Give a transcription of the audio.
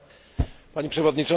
Pani przewodnicząca!